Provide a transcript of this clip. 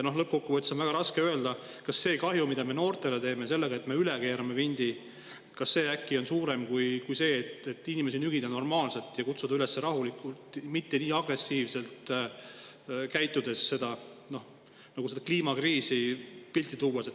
Lõppkokkuvõttes on väga raske öelda, kas see kahju, mida me noortele selle üle vindi keeramisega teeme on suurem, kui see oleks siis, kui inimesi nügida ja kutsuda neid üles rahulikul viisil, mitte niiviisi agressiivselt, pildi kliimakriisist.